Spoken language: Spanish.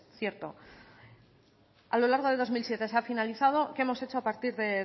cierto a lo largo de dos mil siete se ha finalizado qué hemos hecho a partir de